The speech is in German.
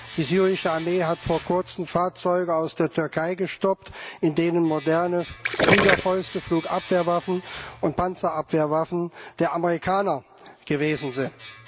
Die syrische Armee hat vor kurzem Fahrzeuge aus der Türkei gestoppt, in denen moderne Fliegerfäuste, Flugabwehrwaffen und Panzerabwehrwaffen der Amerikaner gewesen sind.